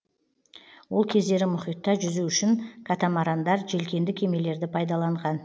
ол кездері мұхитта жүзу үшін катамарандар желкенді кемелерді пайдаланған